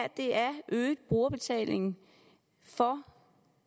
er øget brugerbetaling for